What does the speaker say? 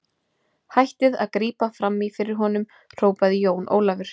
Hættið að grípa framí fyrir honum, hrópaði Jón Ólafur.